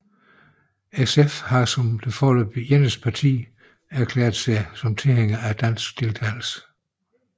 SF har som det foreløbig eneste parti erklæret sig som tilhænger af dansk deltagelse